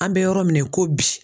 An bɛ yɔrɔ min na i ko bi